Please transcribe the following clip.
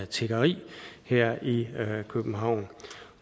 tiggeri her i københavn